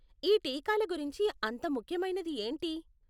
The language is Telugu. ఈ టీకాల గురించి అంత ముఖ్యమైనది ఏంటి?